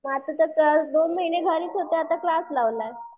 म आता तर दोन महिने घरीच होते आता तर क्लास लावलाय.